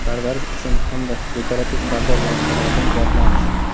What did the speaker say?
Parvarish uchun hamda dekorativ pardoz vositalaridan zavqlanish.